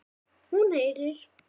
Hún heyrir.